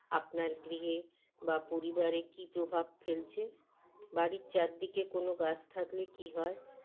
আপনার গৃহে বা পরিবারে কী প্রভাব ফেলছে বাড়ির চারদিকে কোনো গাছ থাকলে কী হয়